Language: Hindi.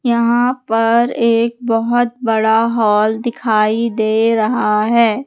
यहां पर एक बहोत बड़ा हॉल दिखाई दे रहा है।